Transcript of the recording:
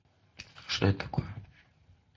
что это такое